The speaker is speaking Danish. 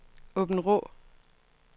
Åbenrå